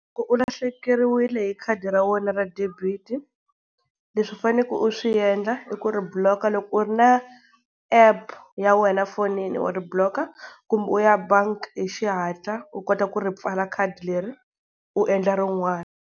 Loko u lahlekeriwile hi khadi ra wena ra debit-i, leswi u faneleke u swi endla i ku ri block. Loko u ri na app ya wena fonini wa ri block-a kumbe u ya bank hi xihatla u kota ku ri pfala khadi leri u endla rin'wani.